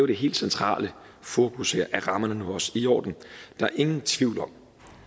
det helt centrale fokus her er rammerne nu også i orden der er ingen tvivl om